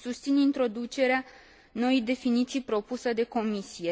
Susțin introducerea noii definiții propuse de Comisie.